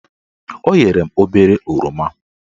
O nyere m obere oroma